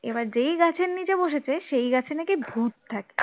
এবার যেই গাছের নিচে বসেছে সেই গাছে নাকি ভূত থাকে